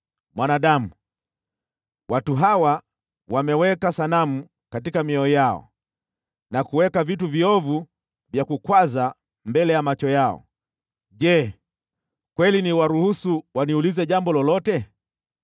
“Mwanadamu, watu hawa wameweka sanamu katika mioyo yao na kuweka vitu viovu vya kukwaza mbele ya macho yao. Je, kweli niwaruhusu waniulize jambo lolote?